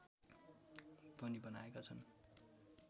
पनि बनाएका छन्